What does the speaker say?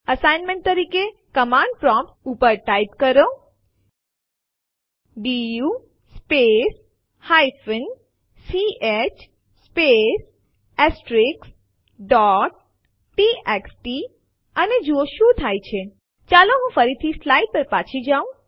assignment તરીકે command prompt ઉપર type કરો D U space ch space txt અને જુઓ શું થાય છે ચાલો હું ફરીથી સ્લાઇડ્સ પર પાછી જાઉં